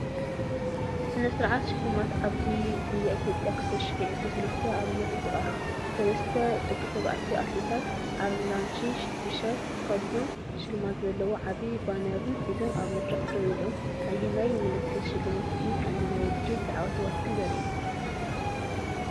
ስነ-ስርዓት ሽልማት ዓባይ ጉያ ኢትዮጵያ 2023 ኣብ ምርኢት ይቐርብ። ሰለስተ ደቂ ተባዕትዮ ኣትሌታት፡ ኣራንሺ ቲሸርት ተኸዲኖም፡ ሽልማት ዘለዎ ዓቢ ባነርን ሒዞም ኣብ መድረኽ ደው ኢሎም። ኣየናይ ምልክትሽልማት እዩ ቀንዲ ናይቲ ውድድር ተዓዋቲ ዘርኢ?